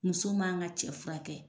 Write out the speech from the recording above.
Muso man ka cɛ fura kɛ.